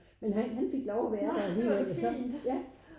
Men han han fik lov at være der alligevel så ja